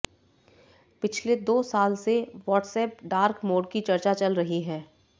पिछले दो साल से वॉट्सऐप डार्क मोड की चर्चा चल रही है